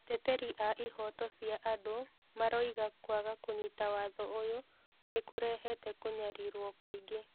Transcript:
Ateteri a ihoto cia andũ maroiga kwaga kũnyita watho ũyũ nĩ kũrehete kũnyarirwo kũingĩ.